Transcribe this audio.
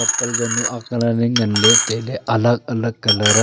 chappel jawnu aak lal le ngan le taile alag alag colour a.